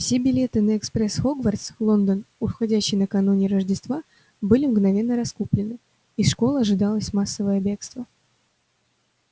все билеты на экспресс хогвартс лондон уходящий накануне рождества были мгновенно раскуплены из школы ожидалось массовое бегство